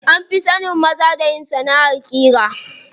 An fi sanin maza da yin sanaʼar ƙira.